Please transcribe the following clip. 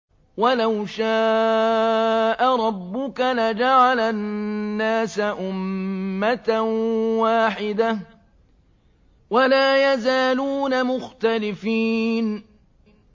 وَلَوْ شَاءَ رَبُّكَ لَجَعَلَ النَّاسَ أُمَّةً وَاحِدَةً ۖ وَلَا يَزَالُونَ مُخْتَلِفِينَ